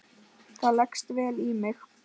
Það leggst vel í mig.